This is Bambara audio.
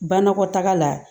Banakɔtaga la